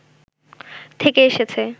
থেকে এসেছে